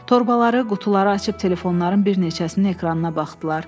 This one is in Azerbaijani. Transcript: Torbaları, qutuları açıb telefonların bir neçəsini ekrana baxdılar.